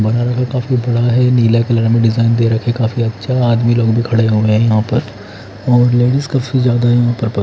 बड़ा काफी बड़ा है नीला कलर में डिज़ाइन दे राखी है काफी अच्छा आदमी लोग भी खड़े हुए है यहाँ पर--